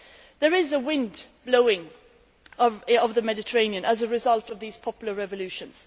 There is a wind blowing over the Mediterranean as a result of these popular revolutions.